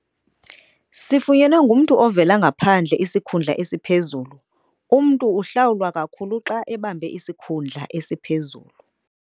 Sifunyenwe ngumntu ovela ngaphandle isikhundla esiphezulu. umntu uhlawulwa kakhulu xa ebambe isikhundla esiphezulu